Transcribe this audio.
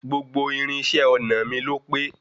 Gbogbo irinṣẹ́ ọnà mi ló pé.